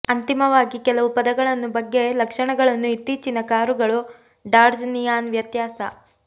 ಅಂತಿಮವಾಗಿ ಕೆಲವು ಪದಗಳನ್ನು ಬಗ್ಗೆ ಲಕ್ಷಣಗಳನ್ನು ಇತ್ತೀಚಿನ ಕಾರುಗಳು ಡಾಡ್ಜ್ ನಿಯಾನ್ ವ್ಯತ್ಯಾಸ